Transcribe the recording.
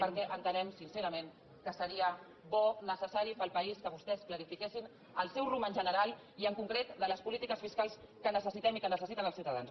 perquè entenem sincerament que seria bo necessari per al país que vostès clarifiquessin el seu rumb en general i en concret en les polítiques fiscals que necessitem i que necessiten els ciutadans